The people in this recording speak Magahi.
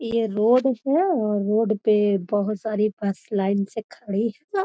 ये रोड है और रोड पे बहुत सारी बस लाइन से खड़ी है।